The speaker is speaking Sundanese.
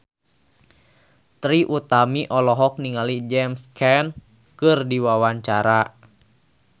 Trie Utami olohok ningali James Caan keur diwawancara